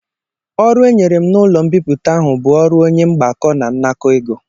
Ọrụ e nyere m n'ụlọ mbipụta ahụ bụ ọrụ onye mgbakọ na nnakọ ego